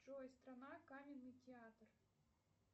джой страна каменный театр